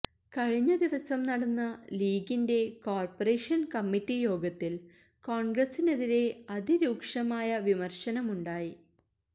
കഴിഞ്ഞദിവസം നടന്ന ലീഗിന്റെ കോര്പ്പറേഷന് കമ്മിറ്റി യോഗത്തില് കോണ്ഗ്രസിനെതിരെ അതിരൂക്ഷമായ വിമര്ശനമുണ്ടായി